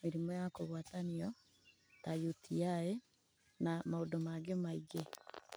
mĩrimũ ya kũgwatanio ta UTI na maũndũ mangĩ maingĩ.